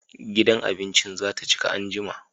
Gidan abincin za ta cika anjima